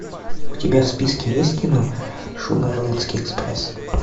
у тебя в списке есть кино шугарлендский экспресс